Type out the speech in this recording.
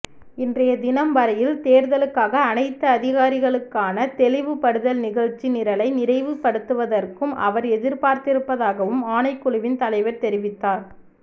இன்றைய தினம்வரையில் தேர்தலுக்காக அனைத்து அதிகாரிகளுக்கான தெளிவுபடுதல் நிகழ்ச்சி நிரலை நிறைவு படுத்துவதற்கும் அவர் எதிர்பார்த்திருப்பதாகவும் ஆணைக்குழுவின் தலைவர் தெரிவித்தார